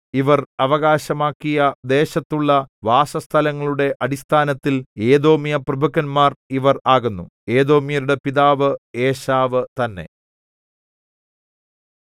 ഇവർ അവകാശമാക്കിയ ദേശത്തുള്ള വാസസ്ഥലങ്ങളുടെ അടിസ്ഥാനത്തിൽ ഏദോമ്യപ്രഭുക്കന്മാർ ഇവർ ആകുന്നു ഏദോമ്യരുടെ പിതാവ് ഏശാവ് തന്നെ